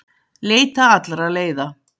Leita allra leiða